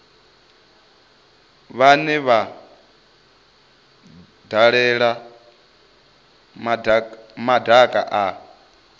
vhane vha dalela madaka a